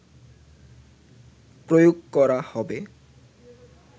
প্রয়োগ করা হবে